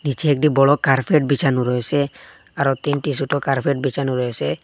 পিছে একটি বড় কার্পেট বিছানো রয়েছে আরও তিনটি ছোট কার্পেট বিছানো রয়েছে।